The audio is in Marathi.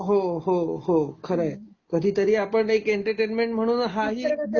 हो, हो, हो खरंय, कधीतरी आपण एंटरटेनमेंट म्हणून हा ही